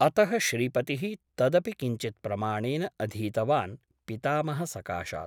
अतः श्रीपतिः तदपि किञ्चित्प्रमाणेन अधीतवान् पितामहसकाशात् ।